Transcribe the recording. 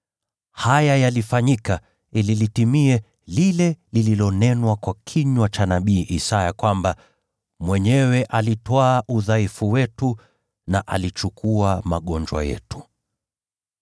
Haya yalifanyika ili litimie lile lililonenwa kwa kinywa cha nabii Isaya kwamba: “Mwenyewe alitwaa udhaifu wetu na alichukua magonjwa yetu.”